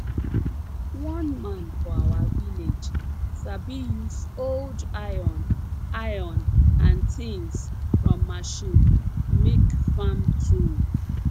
one man for our village sabi use old iron iron and tins from machine make farm tools